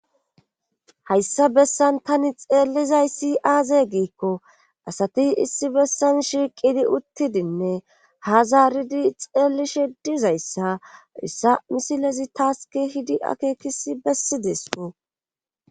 Hayssa bessan tani xeellizayssi aaze giikko asati issi bessan shiiqidi uttidinne ha zaaridi xeellishe dizayssa hayssa misilezi taas keehidi akeekisi bessideskko